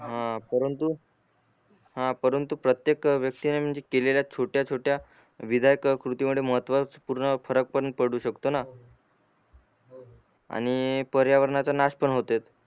हा परंतु हा परंतु प्रत्येक केलेल्या छोट्या छोट्या विधायक कृती मुळे महत्वच पूर्ण फरक पण पडु शकतो ना आणि पर्यावरणाचा नाश पण होतेच